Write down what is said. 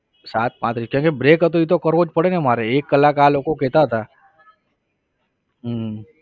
સાત પાંત્રીસ કેમ કે break હતો ઈ તો કરવો જ પડે ને મારે એક કલાક આ લોકો કહેતા હતા હમ